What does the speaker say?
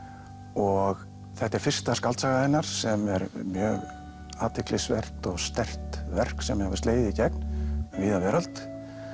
og þetta er fyrsta skáldsaga hennar sem er mjög athyglisvert og sterkt verk sem hefur slegið í gegn um víða veröld